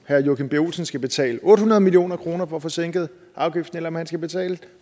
herre joachim b olsen skal betale otte hundrede million kroner på at få sænket afgiften eller om han skal betale